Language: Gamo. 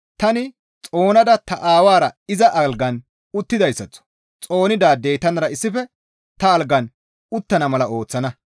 Tani xoonada ta Aawara iza algan uttidayssaththo xoonidaadey tanara issife ta algan uttana mala ooththana.